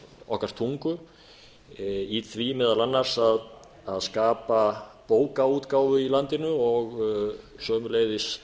okkar tungu í því meðal annars að skapa bókaútgáfu í landinu og sömuleiðis